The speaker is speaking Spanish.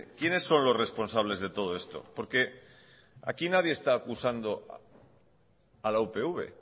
quiénes son los responsables de todo esto porque aquí nadie está acusando a la upv